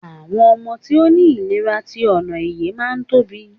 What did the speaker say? àwọn ọmọ tí o ni ilera ti onoeye ma n Tobi